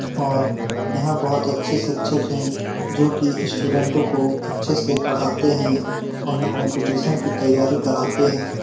और यहाँ बहुत अच्छे शिक्षक है जो कि स्टूडेंटों को अच्छे से पढ़ाते हैं उन्हें कंपटीशन की तैयारी कराते हैं।